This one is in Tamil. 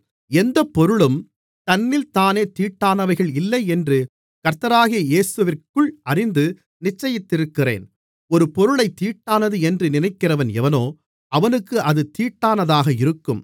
எந்தப்பொருளும் தன்னில்தானே தீட்டானவைகள் இல்லை என்று கர்த்தராகிய இயேசுவிற்குள் அறிந்து நிச்சயித்திருக்கிறேன் ஒரு பொருளைத் தீட்டானது என்று நினைக்கிறவன் எவனோ அவனுக்கு அது தீட்டானதாக இருக்கும்